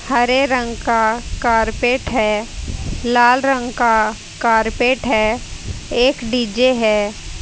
हरे रंग का कारपेट है लाल रंग का कारपेट है एक डी_जे है।